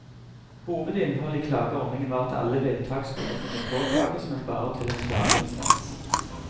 Hovedinnholdet i klageordningen var at alle vedtak skulle kunne påklages, men bare til en klageinstans.